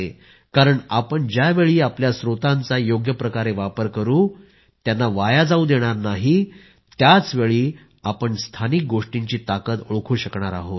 कारण आपण ज्यावेळी आपल्या स्त्रोतांचा योग्यप्रकारे वापर करू त्यांना वाया जावू देणार नाही त्याचवेळी आपण स्थानिक गोष्टींची ताकद ओळखू शकणार आहोत